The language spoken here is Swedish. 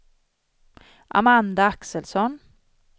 Amanda Axelsson